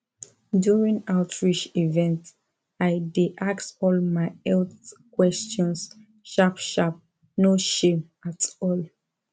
during outreach event i dey ask all my health questions sharp sharp no shame at all